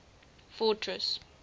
fortress